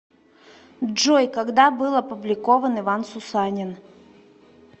джой когда был опубликован иван сусанин